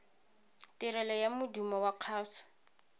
tirelo ya modumo wa kgaso